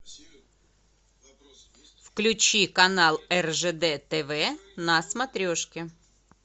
включи канал ржд тв на смотрешке